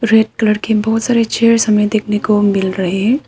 Red colour की बहोत सारी चेयर्स हमें देखने को मिल रहे हैं।